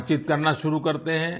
बातचीत करना शुरू करते हैं